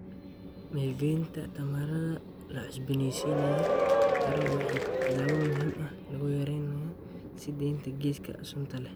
Maalgelinta tamarta la cusbooneysiin karo waa tallaabo muhiim ah oo lagu yareynayo sii deynta gaaska sunta leh.